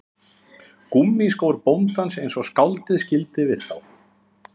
Gúmmískór bóndans eins og skáldið skildi við þá